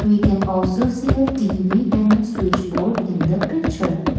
we can also see a TV and a switch board in the picture.